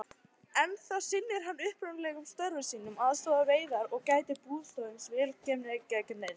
Ennþá sinnir hann upprunalegum störfum sínum, aðstoðar við veiðar, gætir bústofns, ver heimili og eignir.